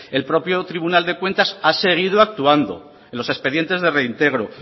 el propio tribunal de cuentas ha seguido actuando en los expedientes de reintegro